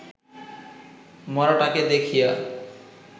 মড়াটাকে দেখিয়া